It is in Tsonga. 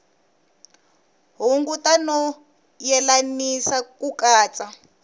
hunguta no yelanisa ku katsa